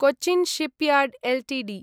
Cochin shipyard Ltd